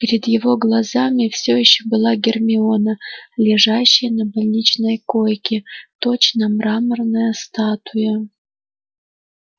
перед его глазами всё ещё была гермиона лежащая на больничной койке точно мраморная статуя